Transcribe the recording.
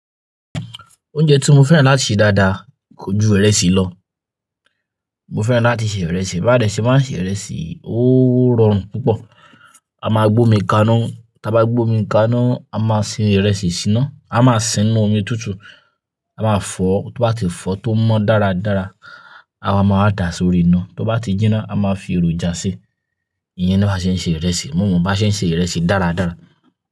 Oúnjẹ tí mo fẹ́ràn láti se dáadáa kọjú ìrẹsì lọ. Mo fẹ́ràn láti se ìrẹsì, bí a de ṣe máa se ìrẹsì, ó rọrùn púpọ̀. A máa gbó omi kaná, tí a bá gbó omi kaná, a máa sin ìrẹsì síná, a máa sinú omi tútù, a máa fọ, tó bá ti fọ tó mọ́ dáradára, àwa máa dàá sórí iná, tó bá ti jinná, a máa fi èròjà si. Ìyẹn ni bá ṣe ń ṣe ìrẹsì, mo mọ̀ bá ṣe ń ṣe ìrẹsì dáradára.